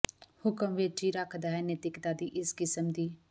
ਹੁਕਮ ਵਿਚ ਹੀ ਰੱਖਦਾ ਹੈ ਨੈਤਿਕਤਾ ਦੀ ਇਸ ਕਿਸਮ ਦੀ